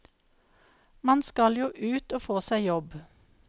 Man skal jo ut og få seg jobb.